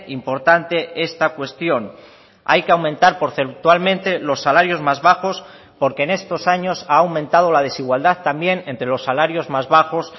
importante esta cuestión hay que aumentar porcentualmente los salarios más bajos porque en estos años ha aumentado la desigualdad también entre los salarios más bajos